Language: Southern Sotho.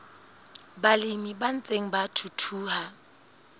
balemi ba ntseng ba thuthuha